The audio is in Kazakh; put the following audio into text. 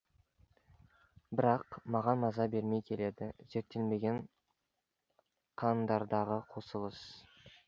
бірақ маған маза бермей келеді зерттелмеген қандардағы қосылыс